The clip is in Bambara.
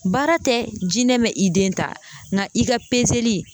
Baara tɛ jinɛ bɛ i den ta ŋa i ka li